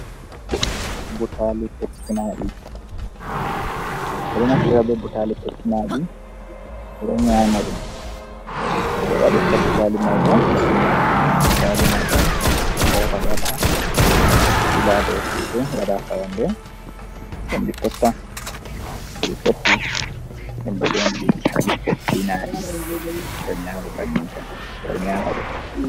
Butali petti naɗi, ɓeɗo naftira be butali petinadi ɓeɗo nyamdom no ɓe waɗira butali mai bo, butali mai ɗon be hosa ɓeɗo waɗa ɓe ɓela ha dau yete, ɓewaɗa ha fayanɗe ɗeen ɗi fette, to fetti min ɗo nyonaɗom butali pettinaɗi, ɓeɗo nyamaɗom bannin, ɓeɗo nyamadum.